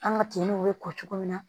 An ka kinw bɛ ko cogo min na